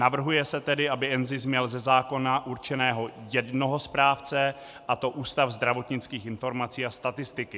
Navrhuje se tedy, aby NZIS měl ze zákona určeného jednoho správce, a to Ústav zdravotnických informací a statistiky.